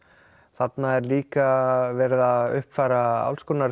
þarna er líka verið að uppfæra